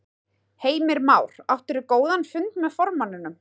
Heimir Már: Áttirðu góðan fund með formanninum?